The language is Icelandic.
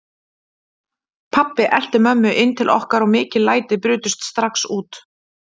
Pabbi elti mömmu inn til okkar og mikil læti brutust strax út.